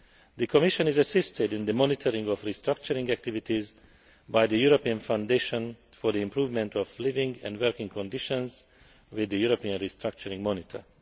The Commission is assisted in the monitoring of restructuring activities by the European Foundation for the Improvement of Living and Working Conditions with the European Restructuring Monitor.